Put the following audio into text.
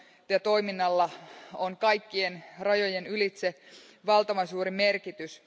ja —toiminnalla kaikkien rajojen ylitse on valtavan suuri merkitys.